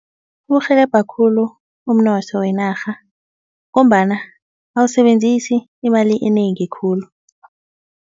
Uwurhelebha khulu umnotho wenarha ngombana awusebenzisi imali enengi khulu.